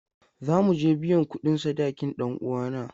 Za mu je biyan kudin sadakin dan uwana.